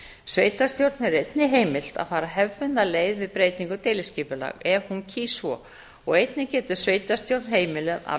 sveitarstjórn er einnig heimilt að fara hefðbundna leið við breytingu deiliskipulags ef hún kýs svo og einnig getur sveitarstjórn heimilað að